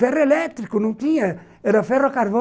Ferroelétrico não tinha, era ferro a carvão.